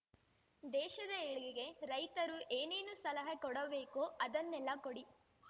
ದೇಶದ ಏಳ್ಗೆಗೆ ರೈತರು ಏನೇನು ಸಲಹೆ ಕೊಡಬೇಕೋ ಅದನ್ನೆಲ್ಲಾ ಕೊಡಿ